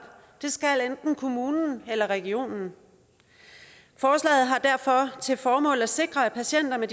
det skal enten kommunen eller regionen forslaget har derfor til formål at sikre at patienter med